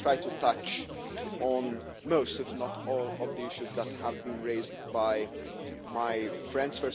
I will try to touch on most, if not all, of the issues that have been raised by my friends.